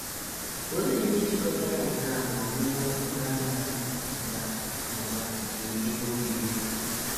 Olee ihe jikọtara nke a na ọnụma okporo ámá nakwa nakwa nke ebe obibi?